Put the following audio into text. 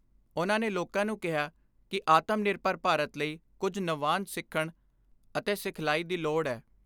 ਉਨ੍ਹਾਂ ਨੇ ਲੋਕਾਂ ਨੂੰ ਕਿਹਾ ਕਿ ਆਤਮ ਨਿਰਭਰ ਭਾਰਤ ਲਈ ਕੁਝ ਨਵਾਂਨ ਸਿੱਖਣ ਅਤੇ ਸਿਖਲਾਈ ਦੀ ਲੋੜ ਏ।